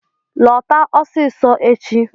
Lọta ọsịsọ echi!